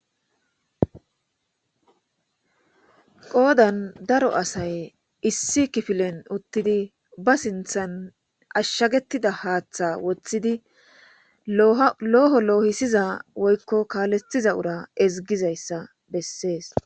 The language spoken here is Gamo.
qoodan daro asay issi kifilen uttidi ba sinthan ashshagetida haaththa woththidi loho loohisiza woykko kaalettiza ura ezigizayssa bessees